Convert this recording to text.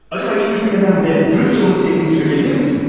Görəsən heç düşünmədən və dürüstcə onu sevdiyini deyə bilərsənmi?